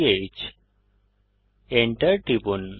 Enter টিপুন